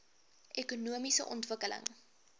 ekonomiese ontwikkeling